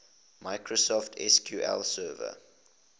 microsoft sql server